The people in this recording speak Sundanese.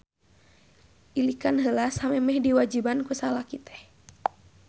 Ilikan heula samemeh diwajiban ku salaki teh.